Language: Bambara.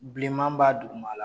Bilenman b'a dugumala